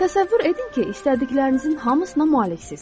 Təsəvvür edin ki, istədiklərinizin hamısına maliksiz.